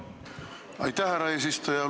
Aitäh, härra eesistuja!